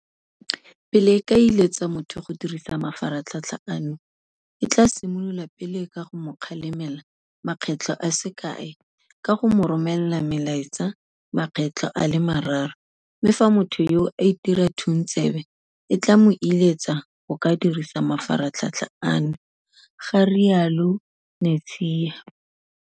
Pele e ka iletsa motho go dirisa mafaratlhatl ha ano, e tla simolola pele ka go mo kgalemela makgetlo a se kae ka go mo romela melaetsa makgetlo a le mararo, mme fa motho yoo a itira thuntsebe, e tla mo iletsa go ka dirisa mafaratlhatlha ano, ga rialo Netshiya.